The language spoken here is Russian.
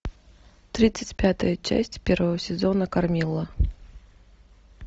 тридцать пятая часть первого сезона кармилла